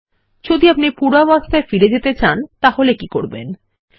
যদি আপনি পূর্বাবস্থায় ফিরিয়ে নিয়ে যেতে চান তাহলে কি করবেন160